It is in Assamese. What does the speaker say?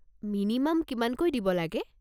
মিনিমাম কিমানকৈ দিব লাগে?